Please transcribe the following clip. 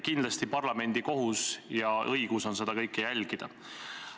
Kindlasti on parlamendi kohus ja õigus seda kõike jälgida.